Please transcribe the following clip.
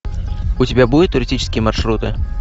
у тебя будет туристические маршруты